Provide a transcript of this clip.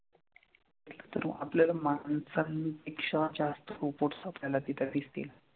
तर मग आपल्याला माणसांपेक्षा जास्त robots आपल्याला तिथं दिसतील.